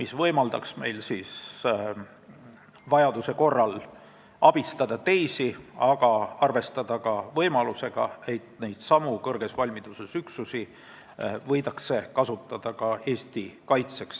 See võimaldaks meil vajaduse korral abistada teisi, aga arvestada ka võimalusega, et neidsamu kõrges valmiduses üksusi võidakse kasutada Eesti kaitseks.